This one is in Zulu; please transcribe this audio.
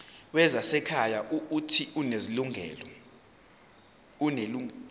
wezasekhaya uuthi unelungelo